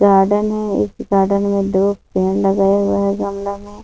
Garden है इस garden में दो पेड़ लगाया हुआ है गमला में।